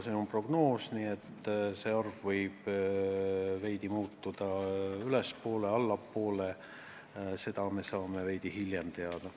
See on prognoos, nii et see võib veidi ülespoole või allapoole minna – seda me saame veidi hiljem teada.